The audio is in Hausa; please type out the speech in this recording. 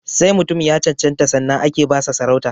Sai mutum ya cancanta sannan ake ba sa sarauta